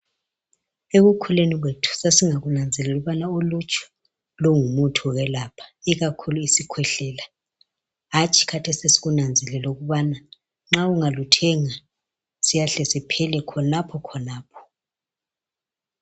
Ekukhuleni kwethu sasingakunanzeleli ukubana uluju lungumuthi okwelapha ikakhulu isikhwehlela hatshi khathesi sesikunanzelela ukubana nxa ungaluthenga siyahle siphele khonapho khonapho